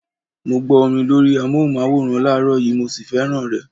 Mo gbó orin lórí amóhùnmáwòrán láàrọ́ yìí, mo sì fẹ́ràn rẹ.